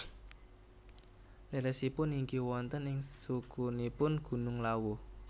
Leresipun inggih wonten ing sukunipun Gunung Lawu